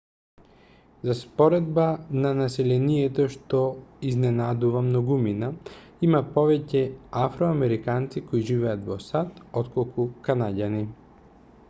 за споредба на населението што изненадува многумина има повеќе афроамериканци кои живеат во сад отколку канаѓани